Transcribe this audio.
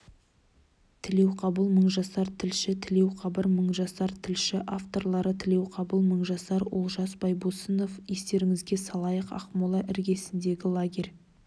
тілеуқабыл мыңжасар тілші тілеуқабыл мыңжасар тілші авторлары тілеуқабыл мыңжасар олжас байбосынов естеріңізге салайық ақмола іргесіндегі лагерь